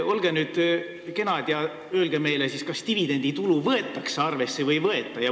Olge nüüd kena ja öelge meile, kas siis dividenditulu võetakse arvesse või ei võeta.